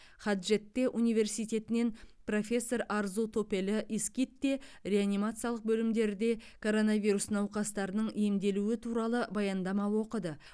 хаджетте университетінен профессор арзу топелі искитте реанимациялық бөлімдерде коронавирус науқастарының емделу туралы баяндама оқыды